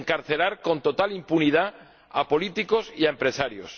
de encarcelar con total impunidad a políticos y a empresarios.